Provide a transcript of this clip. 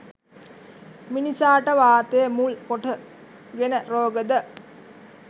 මිනිසාට වාතය මුල් කොට ගෙන රෝග ද